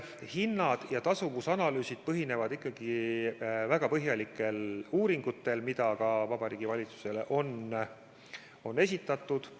Hinnad ja tasuvusanalüüsid põhinevad ikkagi väga põhjalikel uuringutel, mida ka Vabariigi Valitsusele on esitatud.